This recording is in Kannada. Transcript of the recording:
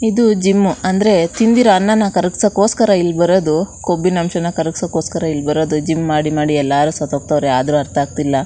ಇದು ಜಿಮ್ಮು ಅಂದ್ರೆ ತಿಂದಿರೋ ಅನ್ನನಾ ಕರಗಿಸಕೊಸ್ಕರ ಬರೋದು ಕೊಬ್ಬಿನ ಅಂಶವನ್ನು ಕರಗಿಸೋದಕ್ಕೊಸ್ಕರ ಇಲ್ ಬರೋದು ಜಿಮ್ ಮಾಡಿ ಮಾಡಿ ಎಲ್ಲರು ಸತ್ ಹೋಗ್ತಾವ್ರೆ ಆದ್ರೂ ಅರ್ಥ ಆಗತಿಲ್ಲ.